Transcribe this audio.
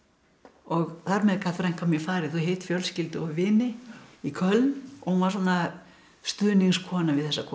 og þar með gat frænka mín farið og hitt fjölskyldu og vini í Köln og hún var svona stuðningskona við þessa konu